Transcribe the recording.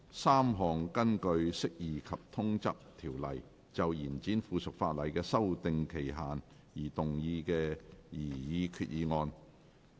三項根據《釋義及通則條例》就延展附屬法例的修訂期限而動議的擬議決議案。